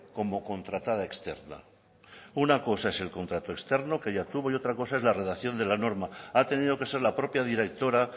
como contratada externa una cosa es el contrato externo que ella tuvo y otra cosa es la redacción de la norma ha tenido que ser la propia directora